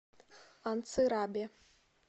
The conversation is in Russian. анцирабе